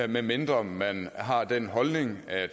medmindre man har den holdning at